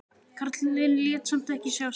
Karlinn lét samt ekki sjá sig.